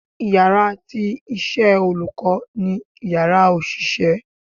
íyarà iṣẹ tí olukọ ni Ìyàrá osiṣẹ